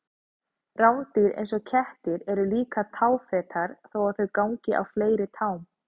Rándýr eins og kettir eru líka táfetar þó að þau gangi á fleiri tám.